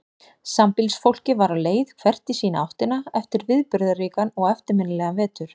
Sambýlisfólkið var á leið hvert í sína áttina eftir viðburðaríkan og eftirminnilegan vetur.